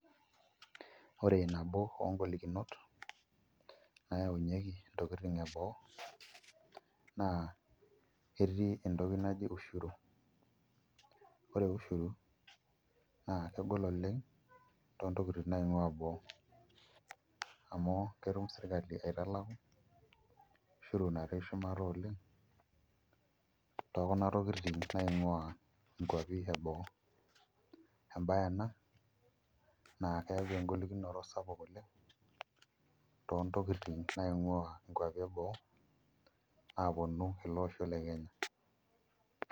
Ore nabo ongolikinot naayaunyieki intokitin eboo naa ketii entoki naji ushuru ore ushuru naa kegol oleng' toontokitin naing'uaa boo amu ketum sirkali aitalaku ushuru natii shumata oleng' tekuna tokitin naing'uaa nkuapi eboo embaye ena naa keyau engolikinoto sapuk oleng' toontokitin naing'uaa nkuapi eboo aaponu ele osho le Kenya.